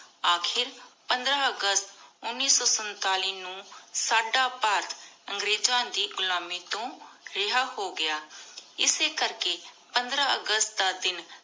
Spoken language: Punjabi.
ਅਖੀਰ ਪੰਦ੍ਰ ਅਗਸਤ ਉਨੀ ਸੋ ਸੰਤਾਲਿਸ ਨੂ ਸਦਾ ਭਾਰਤ ਅੰਗ੍ਰੇਜ਼ਾਂ ਦੇ ਘੁਲਮਿ ਤੂ ਰਿਹਾ ਹੋ ਗਯਾ ਇਸੀ ਕਰ ਕੀ ਪੰਦ੍ਰ ਅਗਸਤ ਦਾ ਦਿਨ